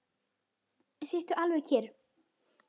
Sittu alveg kyrr.